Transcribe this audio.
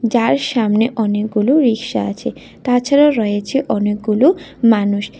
যার সামনে অনেকগুলো রিক্সা আছে তাছাড়া রয়েছে অনেকগুলো মানুষ।